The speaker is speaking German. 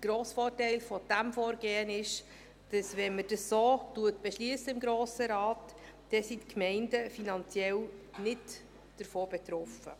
Der grosse Vorteil dieses Vorgehens ist, dass die Gemeinden finanziell davon nicht betroffen sind, wenn man dies so im Grossen Rat beschliesst.